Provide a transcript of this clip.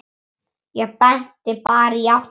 Ég benti bara í áttina.